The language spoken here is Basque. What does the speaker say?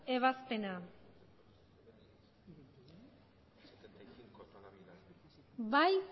ebazpena aldeko botoak